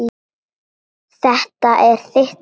Þetta er þitt dæmi.